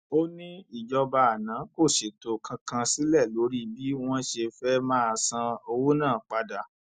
ó ní ìjọba àná kò ṣètò kankan sílẹ lórí bí wọn ṣe fẹẹ máa san owó náà padà